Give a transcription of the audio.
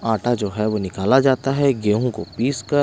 आटा जो है वो निकाला जाता है गेहूं को पीस कर--